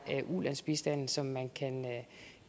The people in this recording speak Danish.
ulandsbistanden som man